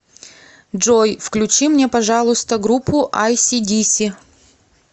джой включи мне пожалуйста группу айси диси